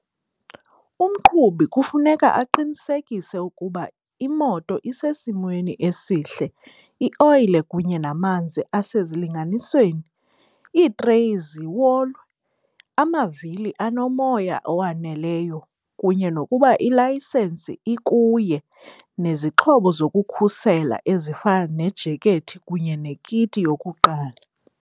Umqhubi kufuneka aqinisekise ukuba imoto isesimweni esihle, ioyile kunye namanzi asezilinganisweni, iitreyi ziwolwe, amavili anomoya owaneleyo kunye nokuba ilayisensi ikuye. Nezixhobo zokukhusela ezifana nejekethi kunye nekiti yokuqala.